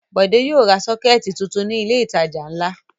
Bọ̀dé yóò ra sọ́kẹ́tì tuntun ní ilé-ìtajà ńlá.